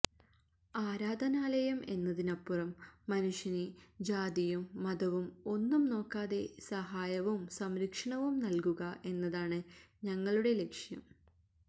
ആരാധാനലയം എന്നതിനപ്പുറം മനുഷ്യന് ജാതിയും മതവും ഒന്നും നോക്കാതെ സഹായവും സംരക്ഷണവും നല്കുക എന്നതാണ് ഞങ്ങളുടെ ലക്ഷ്യം